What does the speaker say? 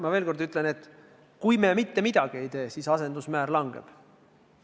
Ma veel kord ütlen, et ka siis, kui me mitte midagi ei tee, asendusmäär langeb.